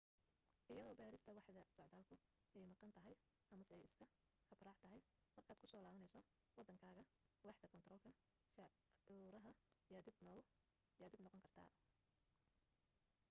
iyadoo baadhista waaxda socdaalku ay maqan tahay amase ay iska habraac tahay markaad ku soo laabanayso waddankaaga waaxda kaantaroolka cashuuraha yaa dhib noqon karta